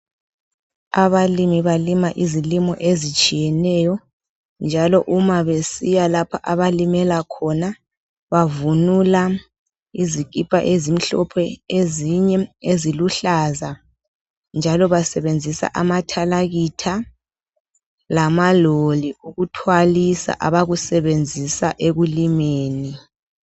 Abalimi balima izilimo ezitshiyeneyo, njalo uma besiya lapho abalimela khona, bavunula izikipa ezimhlophe, ezinye eziluhlaza, njalo basebenzisa amathalakitha lamaloli ukuthwalisa abakusebanzisa ekulimeni.